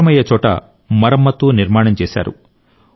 అవసరమయ్యే చోట మరమ్మత్తు నిర్మాణం చేశారు